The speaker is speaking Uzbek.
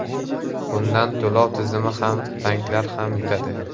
Bundan to‘lov tizimi ham, banklar ham yutadi.